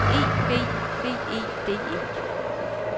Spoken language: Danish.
E B B E D E